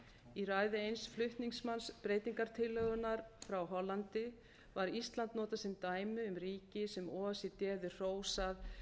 í ræðu eins flutningsmanns breytingartillögunnar frá hollandi var ísland notað sem dæmi um ríki sem o e c d hefði hrósað